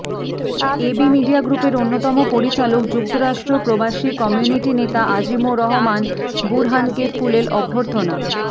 AB media গ্রুপের অন্যতম পরিচালক যুক্তরাষ্ট্র প্রবাসী কমিউনিটি নেতা আজিমুর রহমান বুরহানকে ফুলেল অভ্যর্থনা